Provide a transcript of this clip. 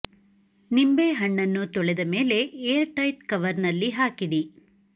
ನಿಂಬೆ ಹಣ್ಣನ್ನು ತೊಳೆದ ಮೇಲೆ ಏರ್ ಟೈಟ್ ಕವರ್ ನಲ್ಲಿ ಹಾಕಿಡಿ